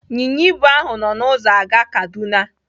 Ịnyịnya ibu ahụ nọ n'ụzọ aga Kaduna.